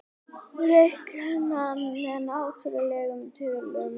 Reiknað með náttúrlegum tölum.